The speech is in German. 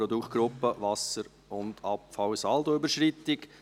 Produktgruppe Wasser und Abfall [...] Saldoüberschreitung